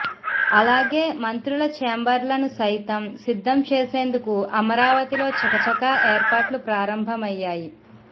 అలాగే మంత్రుల చేంబర్లను సైతం సిద్ధం చేసేందుకు అమరావతిలో చకచకా ఏర్పాట్లు ప్రారంభమయ్యాయి